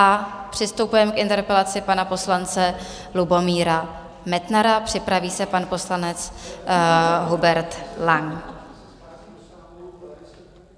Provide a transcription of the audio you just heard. A přistupujeme k interpelaci pana poslance Lubomíra Metnara, připraví se pan poslanec Hubert Lang.